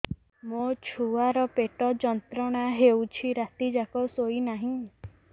ମୋ ଛୁଆର ପେଟ ଯନ୍ତ୍ରଣା ହେଉଛି ରାତି ଯାକ ଶୋଇନାହିଁ